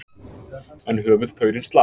En höfuðpaurinn slapp.